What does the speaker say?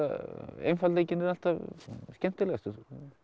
einfaldleikinn er alltaf skemmtilegastur